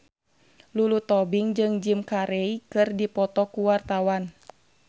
Lulu Tobing jeung Jim Carey keur dipoto ku wartawan